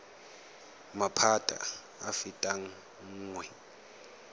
maphata a a fetang nngwe